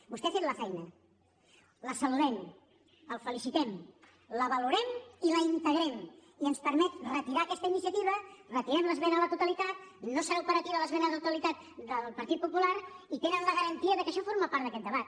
vostè ha fet la feina la saludem el felicitem la valorem i la integrem i ens permet retirar aquesta iniciativa retirem l’esmena a la totalitat no serà operativa l’esmena a la totalitat del partit popular i tenen la garantia que això forma part d’aquest debat